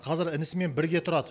қазір інісімен бірге тұрады